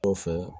Kɔfɛ